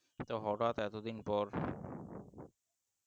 তো হঠাৎ এতদিন পর